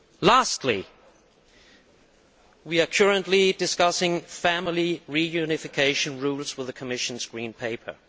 Lastly, we are currently discussing family reunification rules and the Commission's Green Paper.